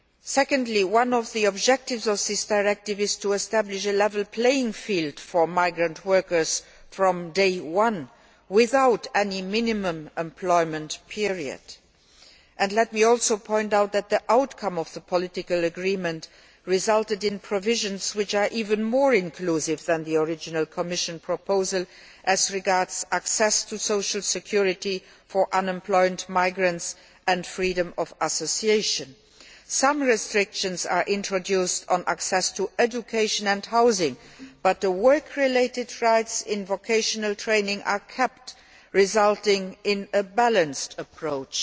Secondly, one of the objectives of this directive is to establish a level playing field for migrant workers from day one without any minimum employment period. Let me also point out that the outcome of the political agreement resulted in provisions which are even more inclusive than the original Commission proposal as regards access to social security for unemployed migrants and freedom of association. Some restrictions are introduced on access to education and housing, but the work related rights in vocational training are kept, which in the Commission's opinion results in a balanced approach.